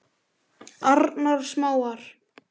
Arnarsmára